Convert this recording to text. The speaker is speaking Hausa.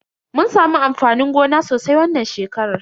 Mun samu amfanin gona sosai wannan shekarar.